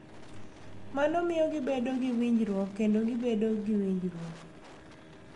Mano miyo gibedo gi winjoruok kendo gibedo gi winjruok.